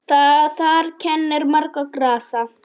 Þar kennir margra grasa.